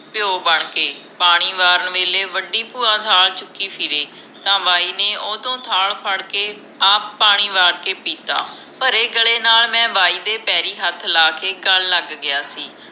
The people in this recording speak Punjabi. ਪਿਓ ਬਣ ਕੇ ਪਾਣੀ ਵਾਰਨ ਵੇਲੇ ਵੱਡੀ ਭੂਆ ਥਾਲ ਚੁਕੀ ਫਿਰੇ ਤਾ ਬਾਈ ਨੇ ਓਹਤੋਂ ਥਾਲ ਫੜ੍ਹ ਕੇ ਆਪ ਪਾਣੀ ਵਾਰ ਕੇ ਪੀਤਾ ਭਰੇ ਗਲੇ ਨਾਲ ਮੈਂ ਬਾਈ ਦੇ ਪੈਰੀ ਹੱਥ ਲੈ ਕੇ ਗੱਲ ਲਗ ਗਿਆ ਸੀ